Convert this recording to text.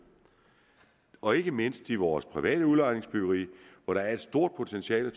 og ikke mindst i vores private udlejningsbyggeri hvor der er et stort potentiale